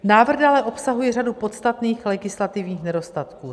Návrh dále obsahuje řadu podstatných legislativních nedostatků.